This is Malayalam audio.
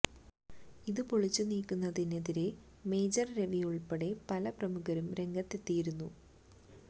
ഇതു പൊളിച്ചു നീക്കുന്നതിനെതിരെ മേജര് രവി ഉള്പ്പെടെ പല പ്രമുഖരും രംഗത്തെത്തിയിരുന്നു